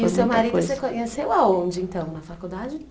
E o seu marido, você conheceu aonde, então, na faculdade?